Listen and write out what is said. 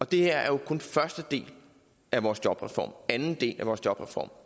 det her er jo kun første del af vores jobreform anden del af vores jobreform